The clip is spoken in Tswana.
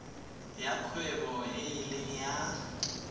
ya kgwebo e leng ya